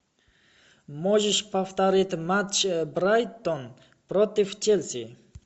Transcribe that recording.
можешь повторить матч брайтон против челси